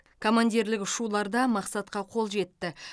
командирлік ұшуларда мақсатқа қол жетті